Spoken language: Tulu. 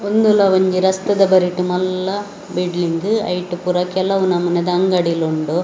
ಉಂದುಳ ಒಂಜಿ ರಸ್ತೆದ ಬರಿಟ್‌ ಮಲ್ಲ ಬಿಲ್ಡಿಂಗ್‌ ಅಯ್ಟ್‌ ಪೂರ ಕೆಲವು ನಮೂನೆದ ಅಂಗಡಿಲು ಉಂಡು.